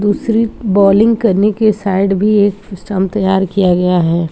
दूसरी बॉलिंग करने के साइड भी एक स्टंप तैयार किया गया है।